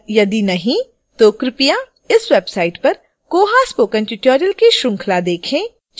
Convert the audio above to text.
यदि नहीं तो कृपया इस website पर koha spoken tutorial की श्रृंखला देखें